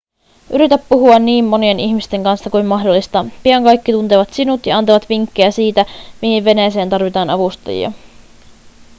yritä puhua niin monien ihmisten kanssa kuin mahdollista pian kaikki tuntevat sinut ja antavat vinkkejä siitä mihin veneeseen tarvitaan avustajia